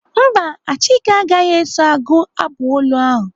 Mba, Achike agaghị eso agụ abụ olu ahụ.